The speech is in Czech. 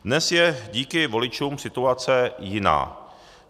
Dnes je díky voličům situace jiná.